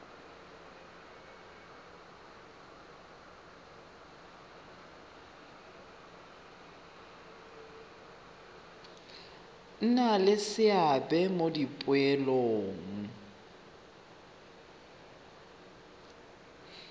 nna le seabe mo dipoelong